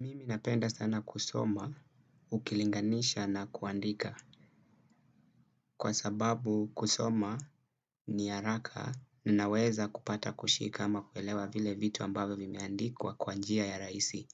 Mimi napenda sana kusoma, ukilinganisha na kuandika. Kwa sababu kusoma ni haraka, ninaweza kupata kushika ama kuelewa vile vitu ambavyo vimeandikwa kwanjia ya rahisi,